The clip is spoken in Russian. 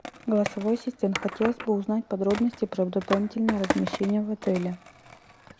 голосовой ассистент хотелось бы узнать подробности про дополнительное размещение в отеле